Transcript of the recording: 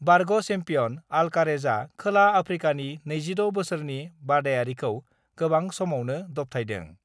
बारग' सेम्पियनअल्कारेजआ खोला आफ्रिकानि 26 बोसोरनि बादायारिखौ गोबां समावनो दबथायदों।